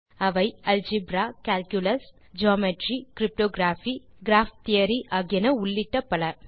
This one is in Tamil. அவை algebra calculus geometry cryptography graph theory ஆகியன உள்ளிட்ட பல